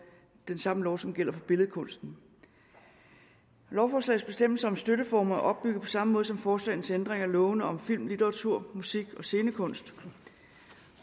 som lov som gælder for billedkunsten lovforslagets bestemmelser om støtteformer er opbygget på samme måde som forslagene til ændring af lovene om film litteratur musik og scenekunst